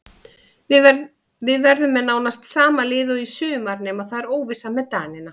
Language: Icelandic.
Við verðum með nánast sama lið og í sumar nema það er óvissa með Danina.